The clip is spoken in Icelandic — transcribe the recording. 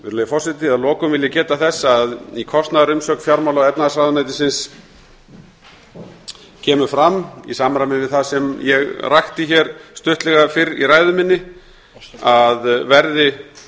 virðulegi forseti að lokum vil ég geta þess að í kostnaðarumsögn fjármála og efnahagsráðuneytisins kemur fram í samræmi við það sem ég rakti hér stuttlega fyrr í ræðu minni að verði